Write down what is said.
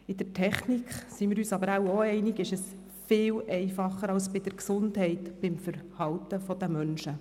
In der Technik ist dies viel einfacher als im Gesundheitsbereich, also beim Verhalten der Menschen.